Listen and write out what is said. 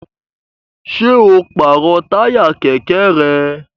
Ṣé o pàrọ̀ táyà kẹ̀kẹ́ rẹ?